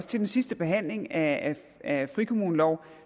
til den sidste behandling af af frikommuneloven